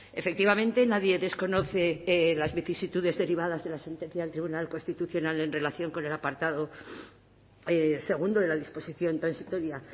efectivamente nadie desconoce las vicisitudes derivadas de la sentencia del tribunal constitucional en relación con el apartado segundo de la disposición transitoria